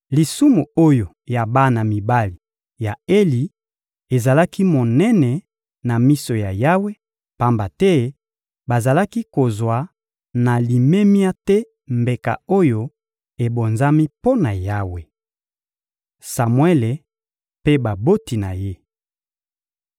Lisumu oyo ya bana mibali ya Eli ezalaki monene na miso ya Yawe, pamba te bazalaki kozwa na limemia te mbeka oyo ebonzami mpo na Yawe. Samuele mpe baboti na ye